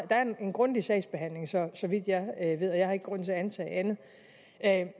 der er en grundig sagsbehandling så vidt jeg ved og jeg har ikke grund til at antage andet